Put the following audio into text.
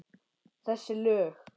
Þessi lög?